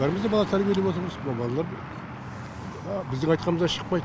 бәріміз де бала тәрбиелеп отырмыз мына балалар біздің айтқанымыздан шықпайды